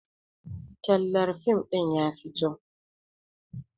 Tallar fim ɗin ya fito